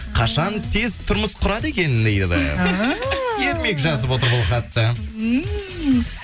қашан тез тұрмыс құрады екен дейді ермек жазып отыр бұл хатты